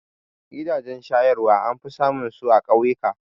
Gidajen shayarwa an fi samun su a ƙauyuka